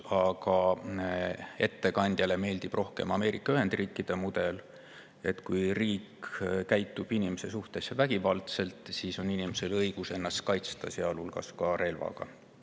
Aga ettekandjale meeldib rohkem Ameerika Ühendriikide mudel, et kui riik käitub inimese suhtes vägivaldselt, siis on inimesel õigus ennast kaitsta, sealhulgas relvaga.